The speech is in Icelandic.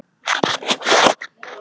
Nei, hvernig læt ég?